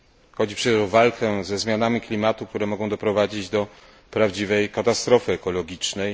Chodzi przecież o walkę ze zmianami klimatu, które mogą doprowadzić do prawdziwej katastrofy ekologicznej.